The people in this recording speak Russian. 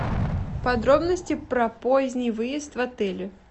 подробности про поздний выезд в отеле